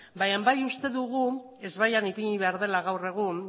baina bai uste dugu ezbaian ipini behar dela gaur egun